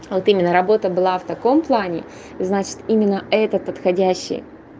вот именно работа была в таком плане значит именно это подходящий